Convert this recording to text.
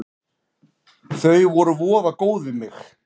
Þau voru voða góð við mig.